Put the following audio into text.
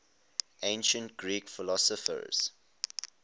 ancient greek philosophers